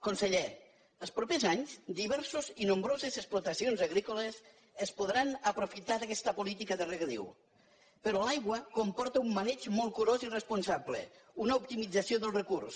conseller els propers anys diverses i nombroses explotacions agrícoles es podran aprofitar d’aquesta política de regadiu però l’aigua comporta un maneig molt curós i responsable una optimització del recurs